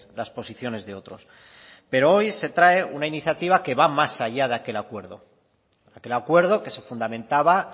las posiciones de otros pero hoy se trae una iniciativa que va más allá de aquel acuerdo aquel acuerdo que se fundamentaba